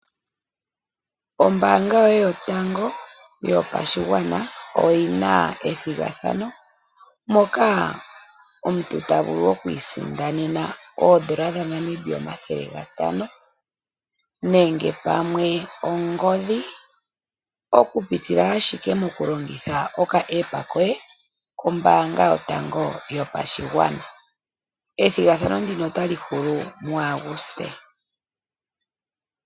Ombaanga yoye yotango yopashigwana oyina ethigathano moka omuntu tavulu okwiisindanena oondola dhaNamibia omathele gatano, nenge pamwe ongodhi okupitila ashike moku longitha oka App koye kombaanga yotango yopashigwana, ethigathano ndino otali hulu mu Aguste.